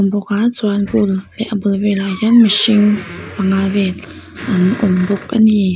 bawk a chuan pool leh a bul velah hian mihring panga vel an awm bawk ani.